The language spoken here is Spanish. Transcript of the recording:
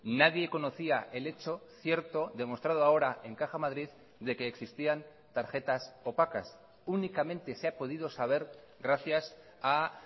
nadie conocía el hecho cierto demostrado ahora en caja madrid de que existían tarjetas opacas únicamente se ha podido saber gracias a